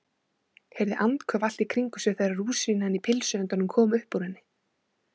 Heyrði andköf allt í kringum sig þegar rúsínan í pylsuendanum kom upp úr henni.